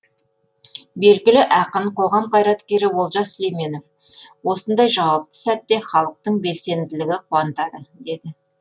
белгілі ақын қоғам қайраткері олжас сүлейменов осындай жауапты сәтте халықтың белсенділігі қуантады деді